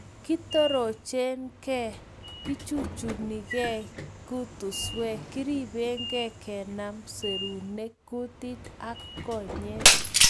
Kitorochken, kechuchungei kutuswek, keribenken kenam serunek, kutit ak konyek